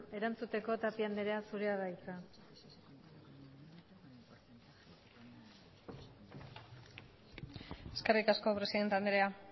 erantzuteko tapia andrea zurea da hitza eskerrik asko presidente andrea